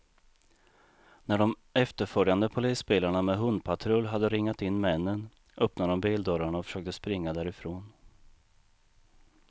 När de efterföljande polisbilarna med hundpatrull hade ringat in männen, öppnade de bildörrarna och försökte springa därifrån.